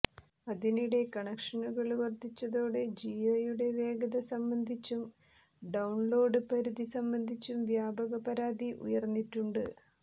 അതിനിടെ കണക്ഷനുകള് വര്ധിച്ചതോടെ ജിയോയുടെ വേഗത സംബന്ധിച്ചും ഡൌണ്ലോഡ് പരിധി സംബന്ധിച്ചും വ്യാപക പരാതി ഉയര്ന്നിട്ടുണ്ട്